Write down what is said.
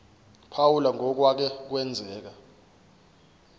phawula ngokwake kwenzeka